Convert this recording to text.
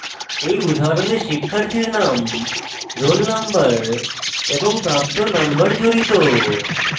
এই উদাহরণে শিক্ষার্থীর name roll নম্বর এবং প্রাপ্ত নম্বর জড়িত